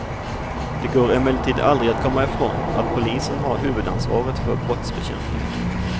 Det går emellertid aldrig att komma ifrån att polisen har huvudansvaret för brottsbekämpningen.